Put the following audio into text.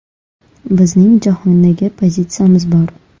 Bizning jahondagi pozitsiyamiz bor.